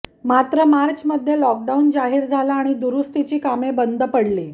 मात्र मार्चमध्ये लॉकडाऊन जाहीर झाला आणि दुरुस्तीची कामे बंद पडली